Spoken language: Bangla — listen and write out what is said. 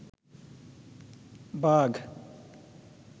বাঘ